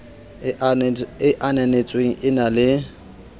e ananetsweng e na le